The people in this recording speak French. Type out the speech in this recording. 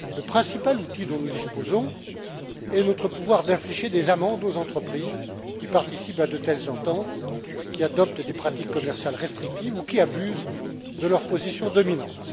Le principal outil dont nous disposons est notre pouvoir d'infliger des amendes aux entreprises qui participent à de telles ententes, qui adoptent des pratiques commerciales restrictives ou qui abusent de leur position dominante.